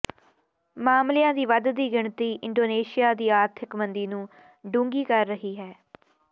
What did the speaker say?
ਮਾਮਲਿਆਂ ਦੀ ਵੱਧਦੀ ਗਿਣਤੀ ਇੰਡੋਨੇਸ਼ੀਆ ਦੀ ਆਰਥਿਕ ਮੰਦੀ ਨੂੰ ਡੂੰਘੀ ਕਰ ਰਹੀ ਹੈ